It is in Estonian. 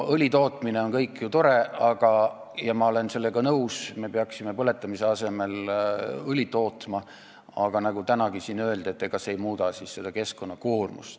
Õlitootmine on ju tore ja ma olen sellega nõus, me peaksime põletamise asemel õli tootma, aga nagu tänagi siin öeldi, ega see ei muuda keskkonnakoormust.